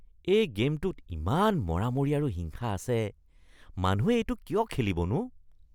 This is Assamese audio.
এই গে'মটোত ইমান মৰামৰি আৰু হিংসা আছে। মানুহে এইটো কিয় খেলিবনো?